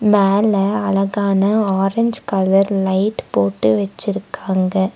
மேல அழகான orange colour light போட்டு வெச்சுருக்காங்க.